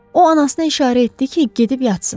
O anasına işarə etdi ki, gedib yatsın.